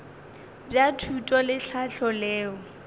bja thuto le tlhahlo leo